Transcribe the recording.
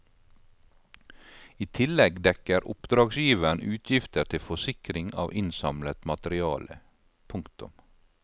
I tillegg dekker oppdragsgiveren utgifter til forsikring av innsamlet materiale. punktum